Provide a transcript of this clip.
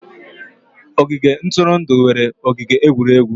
Ogige ntụrụndụ nwere ogige egwuregwu.